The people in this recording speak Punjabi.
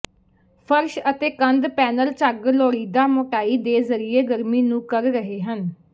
ਫਰਸ਼ ਅਤੇ ਕੰਧ ਪੈਨਲ ਝੱਗ ਲੋੜੀਦੀ ਮੋਟਾਈ ਦੇ ਜ਼ਰੀਏ ਗਰਮੀ ਨੂੰ ਕਰ ਰਹੇ ਹਨ